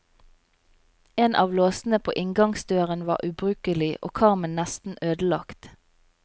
En av låsene på inngangsdøren var ubrukelig og karmen nesten ødelagt.